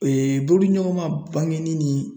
bolodiɲɔgɔnma bangenin ni